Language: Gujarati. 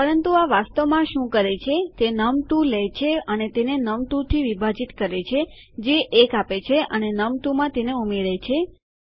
પરંતુ આ વાસ્તવમાં શું કરે છે તે નમ2 લે છે અને તેને નમ2 થી વિભાજીત કરે છે જે 1 આપે છે અને નમ1 તેમાં ઉમેરે છે